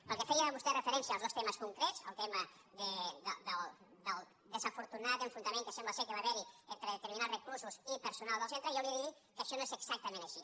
pel que feia vostè referència als dos temes concrets el tema del desafortunat enfrontament que sembla que va haver·hi entre determinats reclusos i personal del centre jo li he de dir que això no és exactament així